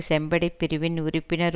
செம்படைப் பிரிவின் உறுப்பினர்